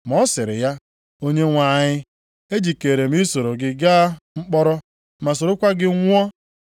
Ma ọ sịrị ya, “Onyenwe anyị, ejikeere m isoro gị gaa mkpọrọ, ma sorokwa gị nwụọ.”